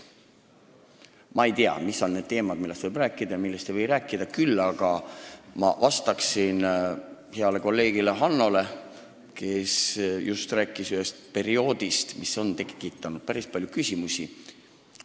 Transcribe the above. Ma ei tea, mis on need teemad, millest võib rääkida ja millest ei või rääkida, küll aga vastan ma heale kolleegile Hannole, kes rääkis just ühest perioodist, mis on tekitanud päris palju küsimusi.